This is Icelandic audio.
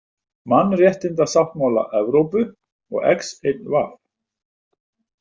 Mannréttindasáttmála Evrópu og XIV.